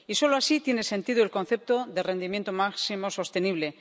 Y solo así tiene sentido el concepto de rendimiento máximo sostenible.